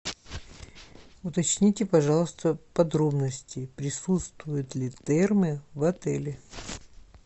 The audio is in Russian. уточните пожалуйста подробности присутствуют ли термы в отеле